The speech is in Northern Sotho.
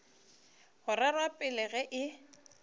go rerwa pele ge e